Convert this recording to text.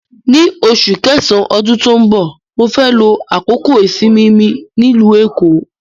Ní oṣù kẹsàn-án ọdún tó ń bọ̀, mó fẹ́ lo àkókò ìsinmi mi nílùú Èkó.